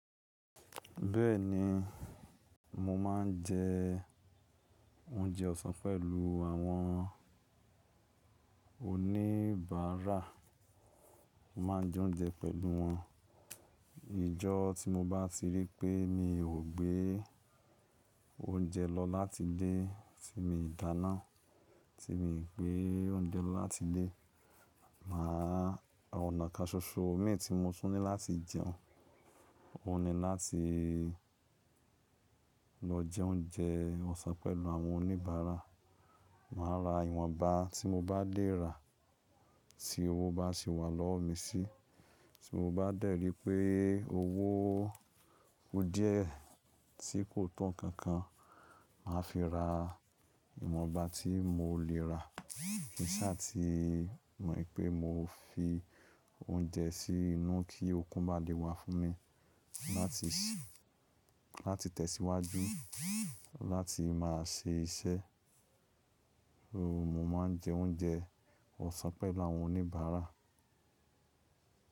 Bẹ́ẹ̀ ni, mo máa ń jẹ oúnjẹ ọ̀sán pẹ̀lú àwọn oníbàárà. Mo máa ń jẹ oúnjẹ pẹ̀lú wọn. Ìjọ́ tí mo bá ti rí pé mi ò gbé oúnjẹ lọ láti ilé tí mi dàna, tí mi ò gbé oúnjẹ lọ láti ilé, màá ra ònà káṣoṣo omi tí mo tún ní láti jẹun. O ni láti lọ jẹ oúnjẹ ọ̀sán pẹ̀lú àwọn oníbàárà. Màá ra ìwọ̀nba tí mo bá lè rà tí owó bá se wà lọ́wọ́ mi sí. Tí mo bá dẹ̀ rí pé owó ku díẹ̀ tí kò to nkan-kan, màá fi ra ìwọ̀nba tí mo lè rà. Kí sáà tí, mo rí pé mo fi oúnjẹ sí inú kí okun bá lè wà fún mi láti, láti tẹ̀síwájú, láti máa ṣe iṣẹ́. Mo máa ń jẹ oúnjẹ ọ̀sán pẹ̀lú àwọn oníbàárà.